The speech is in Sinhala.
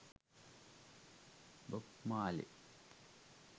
bob marley